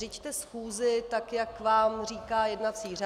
Řiďte schůzi tak, jak vám říká jednací řád!